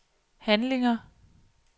handlinger